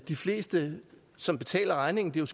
de fleste som betaler regningen det er